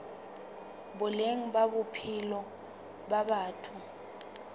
boleng ba bophelo ba batho